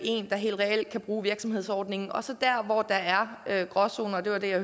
der helt reelt kan bruge virksomhedsordningen og så der hvor der er gråzoner det var det jeg